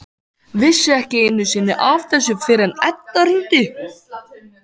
Vissi ekki einu sinni af þessu fyrr en Edda hringdi.